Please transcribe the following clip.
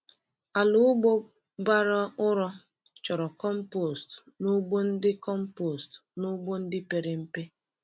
Ala ugbo bara ụrọ chọrọ compost n’ugbo ndị compost n’ugbo ndị pere mpe.